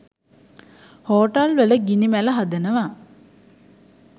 හෝටල්වල ගිනි මැල හදනවා.